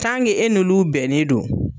Tange e n'olu bɛnnen don